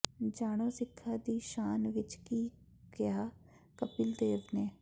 ਜਾਣੋ ਸਿੱਖਾਂ ਦੀ ਸ਼ਾਨ ਵਿਚ ਕੀ ਕਿਹਾ ਕਪਿਲ ਦੇਵ ਨੇ